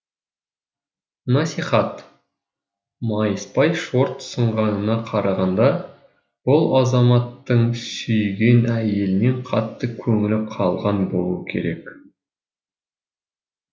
насихат майыспай шорт сынғанына қарағанда бұл азаматтың сүйген әйелінен қатты көңілі қалған болуы керек